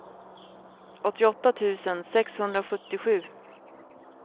åttioåtta tusen sexhundrasjuttiosju